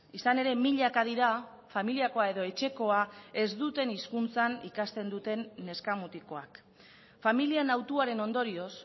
izan ere milaka dira familiakoa edo etxekoa ez duten hizkuntzan ikasten duten neska mutikoak familien hautuaren ondorioz